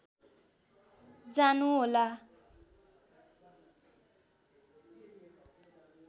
जानु होला